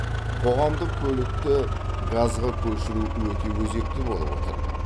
қоғамдық көлікті газға көшіру өте өзекті болып отыр